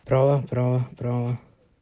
права права права